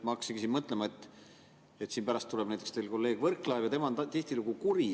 Pärast tuleb teie kolleeg Võrklaev, tema on tihtilugu kuri.